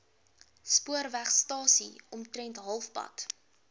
spoorwegstasie omtrent halfpad